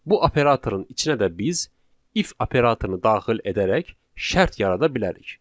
Bu operatorun içinə də biz if operatorunu daxil edərək şərt yarada bilərik.